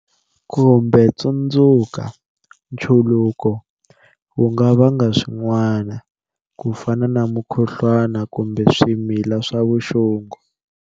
Kumbe tsundzuka, nchuluko wu nga vanga swin'wana, ku fana na mukhuhluwana kumbe swimila swa vuxungu.